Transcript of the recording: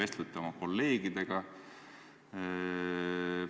Kas te vestlete oma kolleegidega?